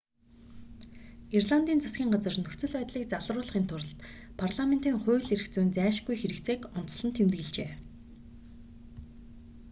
ирландын засгийн газар нөхцөл байдлыг залруулахын тулд парламентын хууль эрх зүйн зайлшгүй хэрэгцээг онцлон тэмдэглэжээ